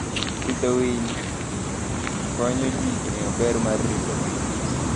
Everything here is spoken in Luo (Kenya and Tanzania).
Pidho winy konyo ji ng'eyo ber mar ritogi.